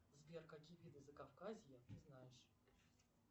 сбер какие виды закавказья ты знаешь